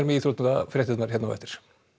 íþróttafréttir hér á eftir